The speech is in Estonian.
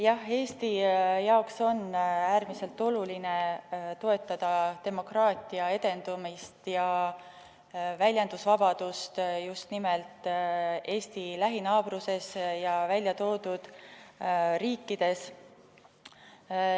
Jah, Eesti jaoks on äärmiselt oluline toetada demokraatia edendamist ja väljendusvabadust just nimelt Eesti lähinaabruses ja nimetatud riikides.